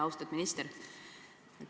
Austatud minister!